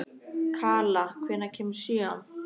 Kala, hvenær kemur sjöan?